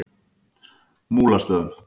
Múlastöðum